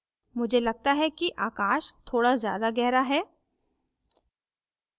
मुझे लगता है कि आकाश थोड़ा ज्यादा गहरा है